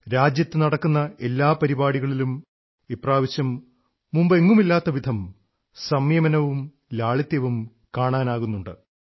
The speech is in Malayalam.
രാജ്യത്തു നടക്കുന്ന എല്ലാ പരിപാടികളിലും ഇപ്രാവശ്യം മുമ്പെങ്ങുമില്ലാത്തവിധം സംയമനവും ലാളിത്യവും കാണാനാകുന്നുണ്ട്